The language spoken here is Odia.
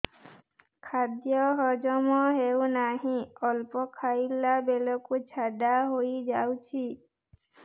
ଖାଦ୍ୟ ହଜମ ହେଉ ନାହିଁ ଅଳ୍ପ ଖାଇଲା ବେଳକୁ ଝାଡ଼ା ହୋଇଯାଉଛି